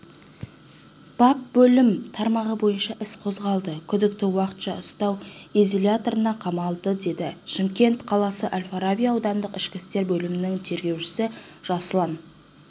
бап бөлім тармағы бойынша іс қозғалды күдікті уақытша ұстау изоляторына қамалды деді шымкент қаласы әл-фараби аудандық ішкі істер бөлімінің тергеушісі жасұлан